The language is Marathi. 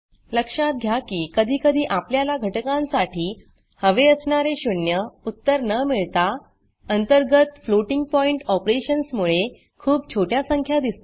लक्षात घ्या की कधीकधी आपल्याला घटकांसाठी हवे असणारे शून्य उत्तर न मिळता अंतर्गत फ्लोटिंग pointफ्लोटिंग पॉइण्ट ऑपरेशन्समुळे खूप छोट्या संख्या दिसतील